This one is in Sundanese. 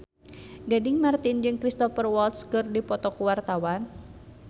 Gading Marten jeung Cristhoper Waltz keur dipoto ku wartawan